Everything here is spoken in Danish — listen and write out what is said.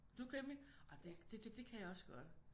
Du er krimi? Ah det kan jeg også godt